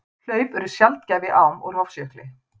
Hlaup eru sjaldgæf í ám úr Hofsjökli.